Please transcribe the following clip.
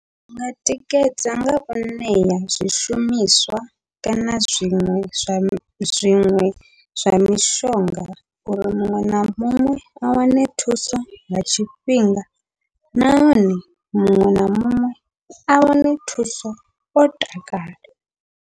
Zwinga tikedza ngau ṋea zwishumiswa, kana zwiṅwe zwa zwiṅwe zwa mishonga uri muṅwe na muṅwe a wane thuso nga tshifhinga, nahone muṅwe na muṅwe a wane thuso o takala.